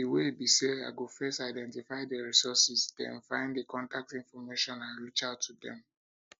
di way be say i go first identify di resources den find di contact information and reach out to dem